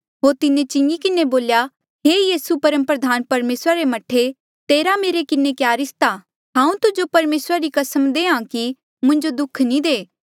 होर तिन्हें चिंगी किन्हें बोल्या हे यीसू परमप्रधान परमेसरा रे मह्ठे तेरा मेरे किन्हें क्या रिस्ता हांऊँ तुजो परमेसरा री कसम देहां कि मुंजो दुःख नी दे